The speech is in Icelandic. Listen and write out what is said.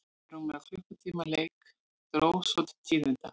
Eftir rúmlega klukkutíma leik dró svo til tíðinda.